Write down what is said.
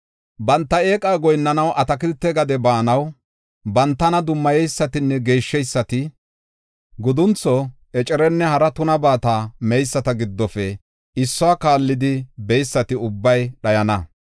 “Banta eeqa goyinnanaw atakilte gade baanaw, bantana dummayeysatinne geeshsheysati; guduntho, ecerenne hara tunabata meyisata giddofe issuwa kaallidi beysati ubbay dhayana.